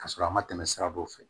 Ka sɔrɔ a ma tɛmɛ sira dɔw fɛ